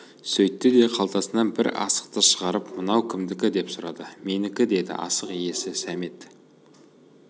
сөйтті де қалтасынан бір асықты шығарып мынау кімдікі деп сұрады менікі деді асық иесі сәмет